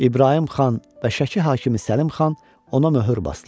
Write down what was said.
İbrahim Xan və Şəki hakimi Səlim Xan ona möhür basdılar.